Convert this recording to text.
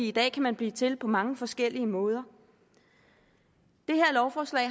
i dag kan man blive til på mange forskellige måder det her lovforslag